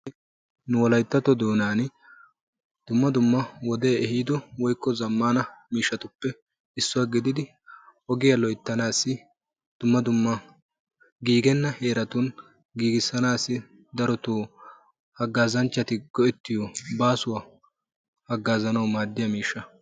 Nu wolayttatto doonan dumma dumma wodee eehido woykko zammaana miishshaatuppe issuwaa gigida ogiyaa loyttanaassi dumma dumma giigenna heeratun giigissanassi darotoo hagazanchchati go"ettiyoo baasuwaa haggazanawu maaddiyaa miishsha.